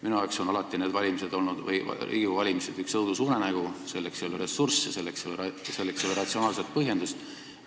Minu arvates on Riigikogu valimised alati üks õudusunenägu, sest selleks, mida lubatakse, ei ole ressursse ega ratsionaalset põhjendust.